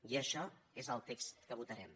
i això és el text que votarem